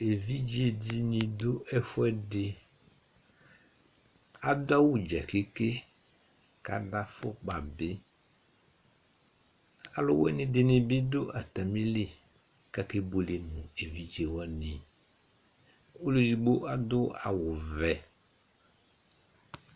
evidze di ni do ɛfuɛdi adu awu dza ƒete kò adu afukpa bi alowini di ni bi do atamili kò ake buele no evidze wani ɔlò edigbo adu awu vɛ